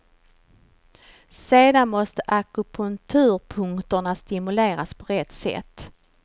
Sedan måste akupunkturpunkterna stimuleras på rätt sätt.